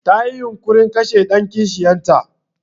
Tayi yunƙurin kashe ɗan kishiyar ta.